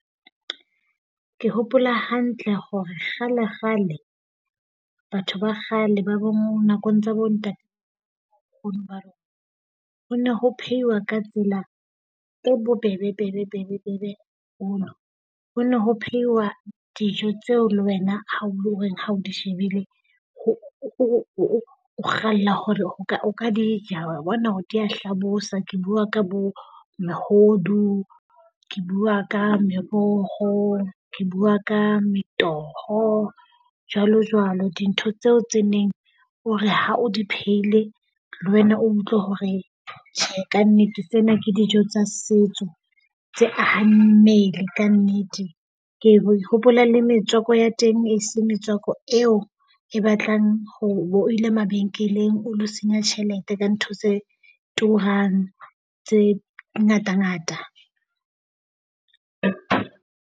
Ke hopola hantle hore kgale kgale batho ba kgale ba bong nakong tsa bo ba ho ne ho phehiwa ka tsela e bobebe bebe bebe bona. Ho ne ho phehiwa dijo tseo le wena ha o le reng ha o di shebile o kgalla hore o ka o ka di ja. Wa bona hore dia hlabosa. Ke bua ka bo mehodu, ke bua ka meroho, ke bua ka metoho jwalo jwalo. Dintho tseo tse neng o re ha o di phehile le wena o utlwe hore tjhe kannete tsena ke dijo tsa setso tse ahang mmele kannete. Ke bo hopola le metswako ya teng e se metswako eo e batlang hore bo ile mabenkeleng o lo senya tjhelete ka ntho tse turang tse ngata ngata.